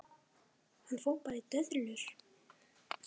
Hann fór bara í döðlur!